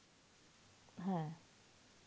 হ্যাঁ